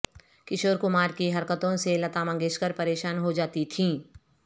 کشور کمار کی حرکتوں سے لتا منگیشکر پریشان ہو جاتی تھیں